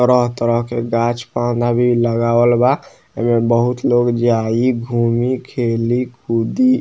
तरह तरह के गाँछ प लगावल बा | एजा बहुत लोग जाइ घूमीं खेली कूदी --